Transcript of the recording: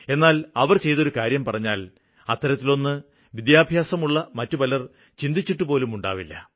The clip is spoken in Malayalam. എന്നാല് അവര് ചെയ്തൊരു കാര്യം പറഞ്ഞാല് അത്തരത്തിലൊന്ന് വിദ്യാഭ്യാസമുള്ള മറ്റു ചിലര് ചിന്തിച്ചിട്ടുപോലുമുണ്ടാവില്ല